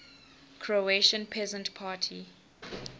croatian peasant party